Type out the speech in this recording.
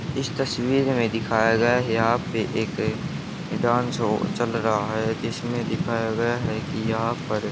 इस तस्वीर में दिखाया गया यहां पे एक डांस शो चल रहा है जिसमें दिखाया गया है कि यहां पर--